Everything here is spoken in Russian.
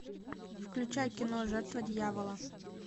включай кино жертва дьявола